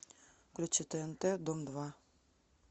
включи тнт дом два